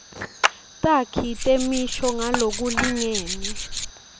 takhi temisho ngalokulingene